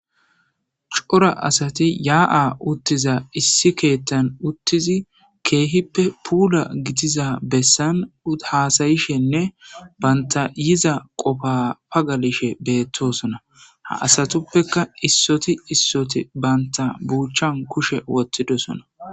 cora asati yaa7a uttiza issi keettan uttizi keehippe puula gitiza bessan haasayishenne banta yiza qofapagalishe beettosona ha asatuppeka issoti issoti banta buuchchan kushe wottidosona